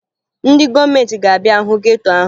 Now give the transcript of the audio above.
Ndị gọọmenti ga-abịa hụ geto ahụ